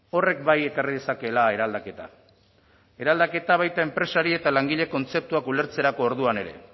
horrek bai ekarri dezakeela eraldaketa eraldaketa baita enpresari eta langile kontzeptuak ulertzerako orduan ere